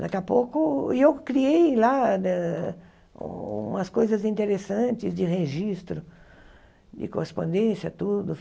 Daqui a pouco... E eu criei lá né umas coisas interessantes de registro, de correspondência, tudo.